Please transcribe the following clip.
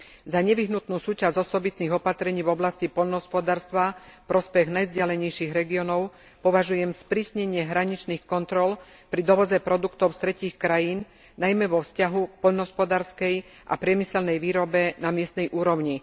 Za nevyhnutnú súčasť osobitných opatrení v oblasti poľnohospodárstva v prospech najvzdialenejších regiónov považujem sprísnenie hraničných kontrol pri dovoze produktov z tretích krajín najmä vo vzťahu k poľnohospodárskej a priemyselnej výrobe na miestnej úrovni.